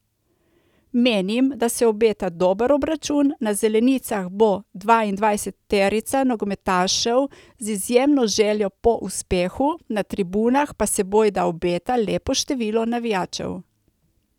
Menim, da se obeta dober obračun, na zelenicah bo dvaindvajseterica nogometašev z izjemno željo po uspehu, na tribunah pa se bojda obeta lepo število navijačev.